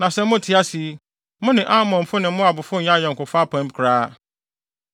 Na sɛ mote ase yi, mo ne Amonfo ne Moabfo nnyɛ ayɔnkofa apam koraa.